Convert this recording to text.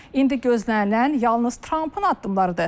İndi gözlənilən yalnız Trampın addımlarıdır.